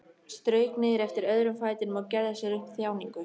Strauk niður eftir öðrum fætinum og gerði sér upp þjáningu.